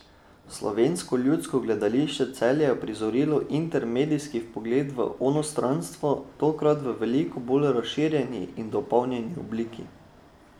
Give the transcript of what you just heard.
Slovensko ljudsko gledališče Celje je uprizorilo intermedijski vpogled v onostranstvo, tokrat v veliko bolj razširjeni in dopolnjeni obliki.